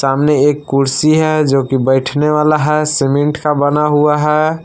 सामने एक कुर्सी है जो की बैठने वाला है सीमेंट का बना हुआ है।